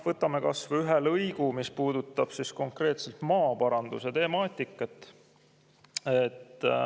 Võtame kas või ühe lõigu, mis puudutab konkreetselt maaparanduse temaatikat.